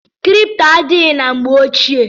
Kripto adịghị na mgbe ochie.